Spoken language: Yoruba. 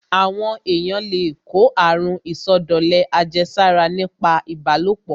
Àwọn èyàn le kó àrun ìsọdọ̀lẹ àjẹsára nípa ìbálòpọ̀.